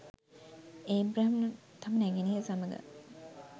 Abraham තම නැගණිය සමඟ